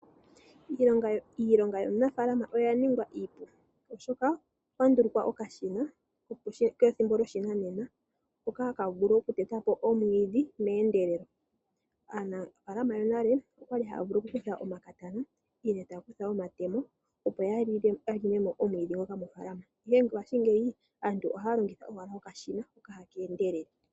Iilonga yanafaalama oya ningwa iipu oshoka okwa ndulukwa uushina wopashinanena wo kuteta omwiidhi meendelelo. Monale aanafalama oyali haya kutha omakatana nenge taya kutha omatemo opo yalongemo omwiidhi mofaalama, ihe mongashingeyi aantu ohaya longitha okashina hoka ha keendelele.